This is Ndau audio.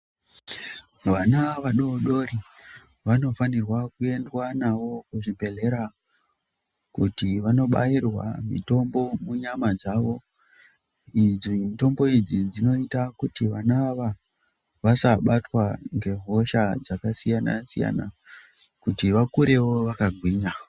Vana vadodori vanofanirwa kuendwa nawo kuzvibhedhlera kuti vandobairwa mitombo munyama dzawo idzi mitombo idzi dzinoita kuti vana ava vasabatwa nghosha dzakasiyana siyana kuti vakurewo vakagwinya.